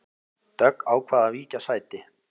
Dögg ákvað að víkja sæti